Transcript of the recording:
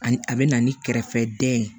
Ani a bɛ na ni kɛrɛfɛdɛn ye